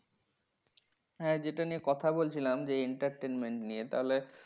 হ্যাঁ যেটা নিয়ে কথা বলছিলাম যে entertainment নিয়ে। তাহলে